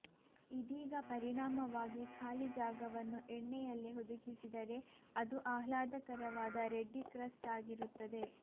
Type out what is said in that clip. ಇದೀಗ ಪರಿಣಾಮವಾಗಿ ಖಾಲಿ ಜಾಗವನ್ನು ಎಣ್ಣೆಯಲ್ಲಿ ಹುದುಗಿಸಿದರೆ ಅದು ಆಹ್ಲಾದಕರವಾದ ರೆಡ್ಡಿ ಕ್ರಸ್ಟ್ ಆಗಿರುತ್ತದೆ